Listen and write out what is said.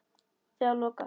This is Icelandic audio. Þegar loka